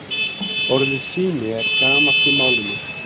Orðið sími er gamalt í málinu.